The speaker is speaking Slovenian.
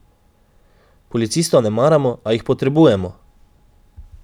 Policistov ne maramo, a jih potrebujemo!